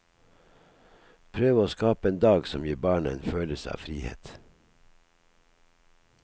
Prøve å skape en dag som gir barna en følelse av frihet.